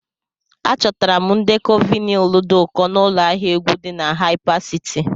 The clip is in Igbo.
Achọtara m ndekọ vinyl dị ụkọ n'ụlọ ahịa egwu dị na Haipasiti.